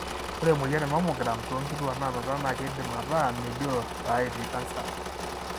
ore emoyian e mammograms tonkituak nanuta na kindim ataa melio ta etii cancer.